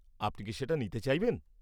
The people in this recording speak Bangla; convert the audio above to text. আপনি কি সেটা নিতে চাইবেন?